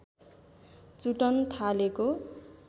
चुटन थालेको